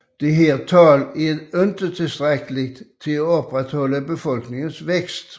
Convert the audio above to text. Dette tal er dog ikke tilstrækkelig til at opretholde befolkningens vækst